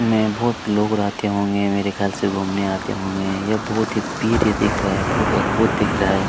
मे बहुत लोग रहते होंगे मेरे ख्याल से घूमने आते होंगे यह बहुत ही पिर्य दिख रहा हैं बहुत अद्भुत दिख रहा है।